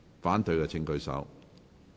反對的請舉手。